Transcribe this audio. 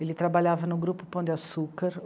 Ele trabalhava no grupo Pão de Açúcar.